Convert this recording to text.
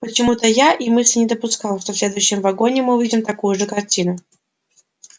почему-то я и мысли не допускал что в следующем вагоне мы увидим такую же картину